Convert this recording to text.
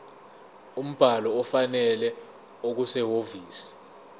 umbhalo ofanele okusehhovisi